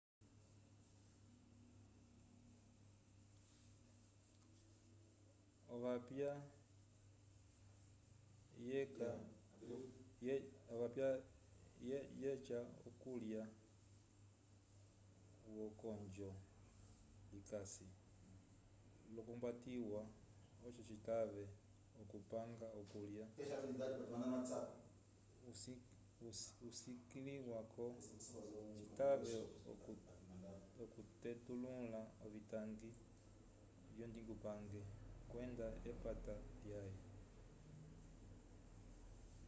ovapya vyeca okulya wokonjo likasi l'okwambatiwa oco citave okupanga okulya usukiliwa oco citave okutelula ovitangi vyondingupange kwenda epata lyãhe